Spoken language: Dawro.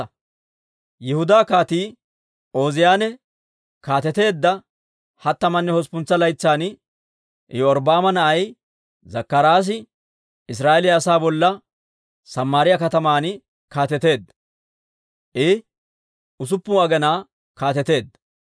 Yihudaa Kaatii Ooziyaane kaateteedda hattamanne hosppuntsa laytsan, Iyorbbaama na'ay Zakkaraasi Israa'eeliyaa asaa bolla Samaariyaa kataman kaateteedda; I usuppun aginaa kaateteedda.